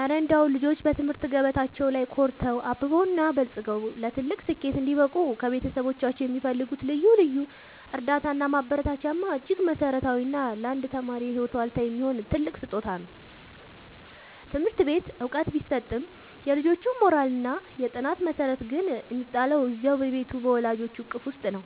እረ እንደው ልጆች በትምህርት ገበታቸው ላይ ኮርተው፣ አብበውና በልጽገው ለትልቅ ስኬት እንዲበቁ ከቤተሰቦቻቸው የሚፈልጉት ልዩ እርዳታና ማበረታቻማ እጅግ መሠረታዊና ለአንድ ተማሪ የህይወት ዋልታ የሚሆን ትልቅ ስጦታ ነው! ትምህርት ቤት ዕውቀት ቢሰጥም፣ የልጁ የሞራልና የጥናት መሠረት ግን የሚጣለው እዚያው በቤቱ በወላጆቹ እቅፍ ውስጥ ነው።